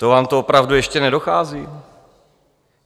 To vám to opravdu ještě nedochází?